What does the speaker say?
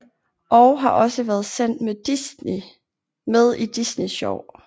Og har også været sendt med i Disney Sjov